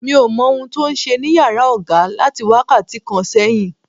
Mi ò mọ ohun tí ó ń ṣe ní yàrá oga láti wákàtí kan sẹ́yìn.